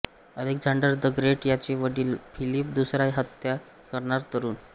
Alexander the great याचे वडिल Philip दुसरा याची हत्या करणारा तरूण